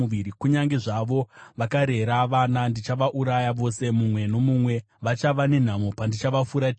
Kunyange zvavo vakarera vana, ndichavauraya vose mumwe nomumwe. Vachava nenhamo pandichavafuratira!